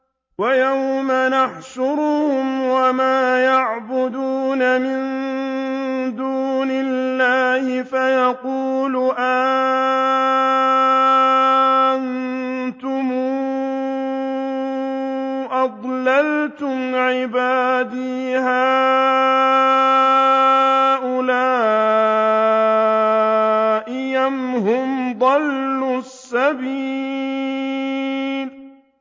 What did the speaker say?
وَيَوْمَ يَحْشُرُهُمْ وَمَا يَعْبُدُونَ مِن دُونِ اللَّهِ فَيَقُولُ أَأَنتُمْ أَضْلَلْتُمْ عِبَادِي هَٰؤُلَاءِ أَمْ هُمْ ضَلُّوا السَّبِيلَ